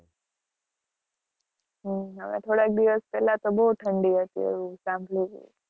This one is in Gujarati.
હમ હમણાં થોડાક દિવસ પેલા તો બહું ઠંડી હતી.